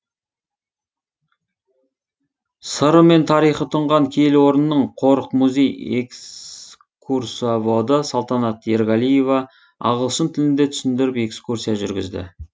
сыры мен тарихы тұнған киелі орынның қорық музей экскурсоводы салтанат ерғалиева ағылшын тілінде түсіндіріп экскурсия жүргізді